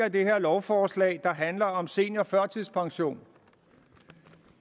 i det her lovforslag der handler om seniorførtidspension